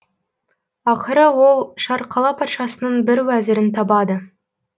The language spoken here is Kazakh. ақыры ол шарқала патшасының бір уәзірін табады